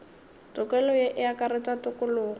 tokelo ye e akaretša tokologo